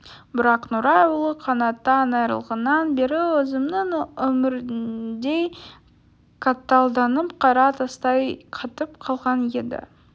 бірақ нұрай ұлы қанаттан айырылғаннан бері өзінің өміріндей қаталданып қара тастай қатып қалған еді